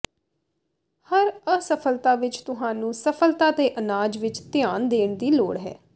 ਹਰ ਅਸਫਲਤਾ ਵਿਚ ਤੁਹਾਨੂੰ ਸਫਲਤਾ ਦੇ ਅਨਾਜ ਵੱਲ ਧਿਆਨ ਦੇਣ ਦੀ ਲੋੜ ਹੈ